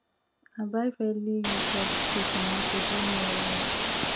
i buy fairly used rabbit cage from market wey near us